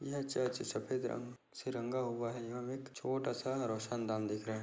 यह चर्च सफेद रंग से रंगा हुआ है यहाँ एक छोटा सा रोशन दान दिख रहा है।